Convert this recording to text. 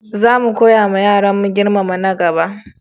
Za mu koyawa yaranmu girmama na gaba.